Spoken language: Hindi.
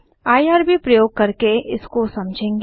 आईआरबी प्रयोग करके इसको समझेंगे